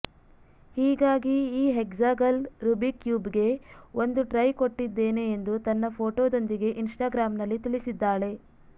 ಹೀಗಾಗಿ ಈ hexagonal Rubik ಕ್ಯೂಬ್ಗೆ ಒಂದು ಟ್ರೈ ಕೊಟ್ಟಿದ್ದೇನೆ ಎಂದು ತನ್ನ ಫೋಟೊದೊಂದಿಗೆ ಇನ್ಸ್ಟಾಗ್ರಾಂನಲ್ಲಿ ತಿಳಿಸಿದ್ದಾಳೆ